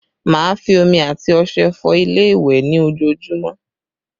Má a fi omi and ọṣẹ fọ ilé ìwẹ̀ ní ojoojúmọ́